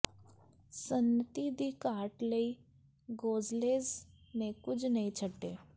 ਸੰਨਤੀ ਦੀ ਘਾਟ ਲਈ ਗੋਜ਼ਲੇਜ਼ ਨੇ ਕੁਝ ਨਹੀਂ ਛੱਡੇ